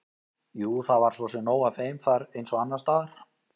Jú, það var svo sem nóg af þeim þar eins og annars staðar.